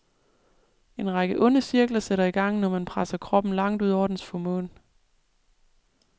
En række onde cirkler sætter i gang, når man presser kroppen langt ud over dens formåen.